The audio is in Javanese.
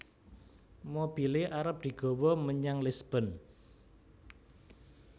Mobile arep digowo menyang Lisburn